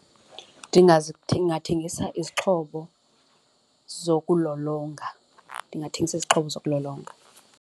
Ndingathengisa izixhobo zokulolonga, ndingathengisa izixhobo zokulolonga.